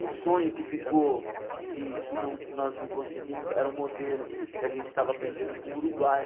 Um sonho que ficou, que que não nós não conseguimos, era um modelo que a gente estava aprendendo com o Uruguai.